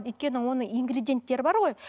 өйткені оны ингредиенттері бар ғой